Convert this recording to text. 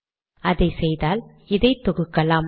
அதை செய்தால் இதை தொகுக்கலாம்